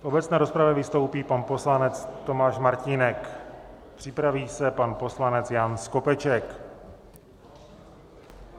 V obecné rozpravě vystoupí pan poslanec Tomáš Martínek, připraví se pan poslanec Jan Skopeček.